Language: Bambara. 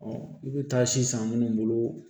i bɛ taa si san minnu bolo